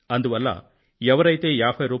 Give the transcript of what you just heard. అందువల్ల ఎవరైతే రూ